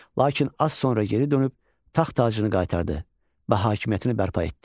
Lakin az sonra geri dönüb taxt-tacını qaytardı və hakimiyyətini bərpa etdi.